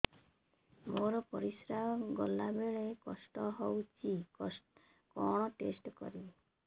ମୋର ପରିସ୍ରା ଗଲାବେଳେ କଷ୍ଟ ହଉଚି କଣ ଟେଷ୍ଟ କରିବି